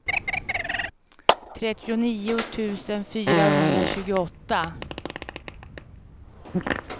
trettionio tusen fyrahundratjugoåtta